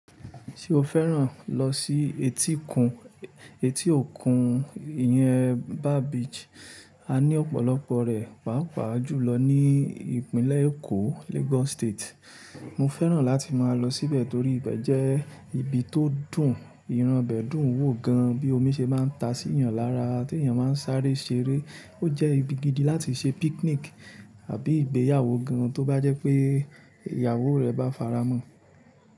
Ṣé o fẹ́ràn lọ sí etí kun, etí òkun. Ìyẹ́n bar Beach? A ní ọ̀pọ̀lọpọ̀ rẹ̀, pàápàá jù lọ ní ìpínlẹ̀ Èkó, Lagos State. Mo fẹ́ràn láti máa lọ síbẹ̀ torí ibẹ̀ jẹ́ ibi tó dùn, ìran bẹ̀dùn wò gan, bí omi ṣe máa ń ta sí yan lára, tí èeyan máa ń sáré ṣeré. Ó jẹ́ ibi gidi láti ṣe picnic àbí ìgbéyàwó gan, tó bá jẹ́ pé ìyàwó rẹ bá faramọ̀.